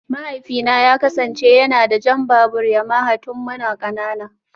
Mahaifina ya kasance yana da jan babur Yamaha tun muna kanana